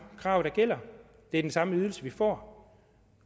krav der gælder det er den samme ydelse vi får